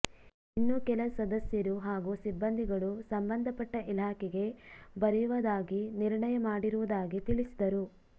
ಇನ್ನು ಕೆಲ ಸದಸ್ಯರು ಹಾಗೂ ಸಿಬಂದಿಗಳು ಸಂಬಂಧಪಟ್ಟ ಇಲಾಖೆಗೆ ಬರೆಯುವದಾಗಿ ನಿರ್ಣಯ ಮಾಡಿರುವುದಾಗಿ ತಿಳಿಸಿದರು